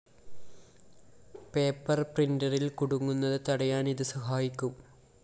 paper പ്രിന്ററില്‍ കുടുങ്ങുന്നത് തടയാന്‍ ഇത് സഹായിക്കും